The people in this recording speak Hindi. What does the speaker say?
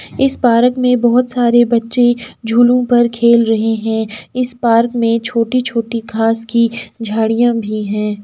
इस पारक में बहुत सारे बच्चे झूलों पर खेल रहे हैं इस पार्क में छोटी छोटी घाँस की झाड़िया भी हैं।